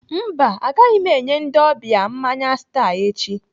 Mba, agaghị m enye ndị ọbịa mmanya Star echi.